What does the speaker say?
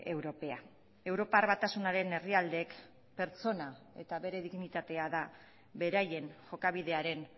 europea europar batasunaren herrialdeek pertsona eta bere dignitatea da beraien jokabidearen